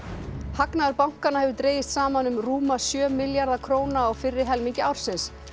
hagnaður bankanna hefur dregist saman um rúma sjö milljarða króna á fyrri helmingi ársins